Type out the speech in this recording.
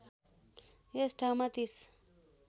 यस ठाउँमा ३०